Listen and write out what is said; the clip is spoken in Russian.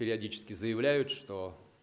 периодически заявляют что